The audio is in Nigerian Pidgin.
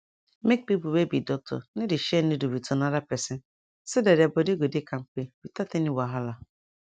make people wey be doctor no dey share needle with another person so that their body go dey kampe without any wahala